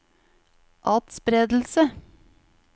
atspredelse